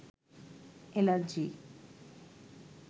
allergy